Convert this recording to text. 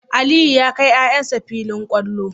Aliyu ya kai yayan shi filin kwallo